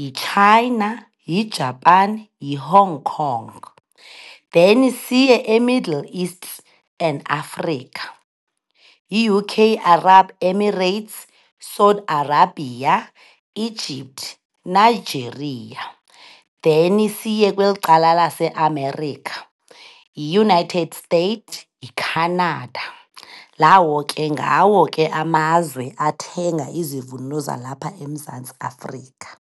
yiChina, yiJapan, yiHong Kong. Then siye eMiddle East and Afrika, yiUK, Arab Emirates, Saudi Arabia, Egypt, Nigeria. Then siye kweli cala laseAmerica, yiUnited States, yiCanada. Lawo ke ngawo ke amazwe athenga izivuno zalapha eMzantsi Afrika.